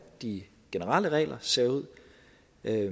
de generelle regler ser ud